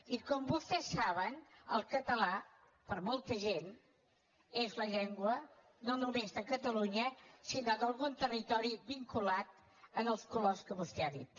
i com vostès saben el català per molta gent és la llengua no només de catalunya sinó d’algun territori vinculat als colors que vostè ha dit